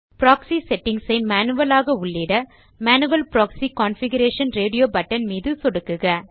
proxy settings ஐ manual ஆக உள்ளிட manual proxy configuration radio button மீது சொடுக்குக